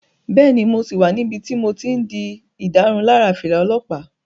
Bẹ́ẹ̀ni, mo sì wà níbi tí mo ti n di ìdárunlárà fìlà olọ́pàá